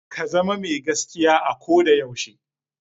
Ka zama mai gaskiya a ko da yaushe.